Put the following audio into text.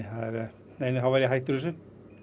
nei nei þá væri ég hættur þessu